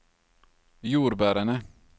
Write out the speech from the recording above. jordbærene